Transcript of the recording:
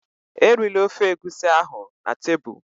Erila ofe Egusi ahụ na tebụl!